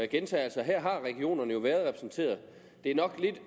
gentager at her har regionerne jo været repræsenteret det er nok